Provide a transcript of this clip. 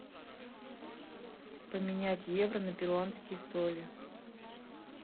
поменять евро на перуанские соли